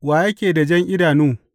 Wa yake da jan idanu?